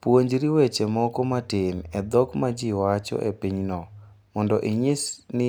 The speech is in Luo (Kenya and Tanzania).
Puonjri weche moko matin e dhok ma ji wacho e pinyno mondo inyis ni